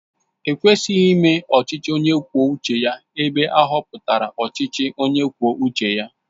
E kwesịghị ime ọchịchị onye kwuo uche ya ebe ahọpụtara ọchịchị onye kwuo uche ya